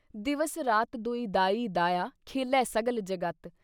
ਦਿਵਸ ਰਾਤ ਦੋਇ ਦਾਈ ਦਾਇਆ, ਖੇਲ੍ਹੇ ਸਗਲ ਜਗਤ।